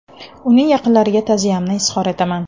Uning yaqinlariga ta’ziyamni izhor etaman.